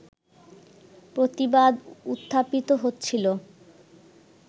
প্রতিবাদ উত্থাপিত হচ্ছিল